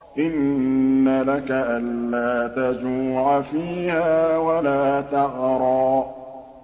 إِنَّ لَكَ أَلَّا تَجُوعَ فِيهَا وَلَا تَعْرَىٰ